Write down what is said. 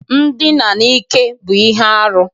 Ndina n'ike bụ ihe arụ.